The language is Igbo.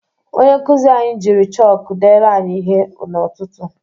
Onye nkuzi anyị jiri chọkụ deere anyị ihe n'ụtụtụ.